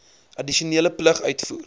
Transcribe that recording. addisionele plig uitvoer